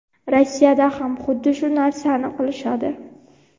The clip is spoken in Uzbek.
Rossiyada ham xuddi shu narsani qilishadi.